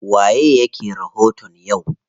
Waye yake rahoton yau?